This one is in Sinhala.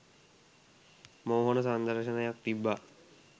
මෝහන සංදර්ශනයක් තිබ්බා